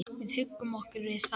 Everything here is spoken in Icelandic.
Við huggum okkur við það.